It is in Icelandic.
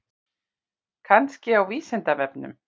Kannski á Vísindavefnum?